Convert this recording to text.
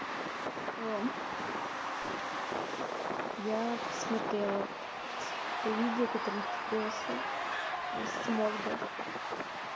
ром я посмотрела это видео которое ты бросил с морга